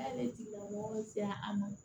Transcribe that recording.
Ale tigila mɔgɔw se an ma